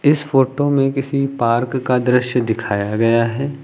इस फोटो में किसी पार्क का दृश्य दिखाया गया है।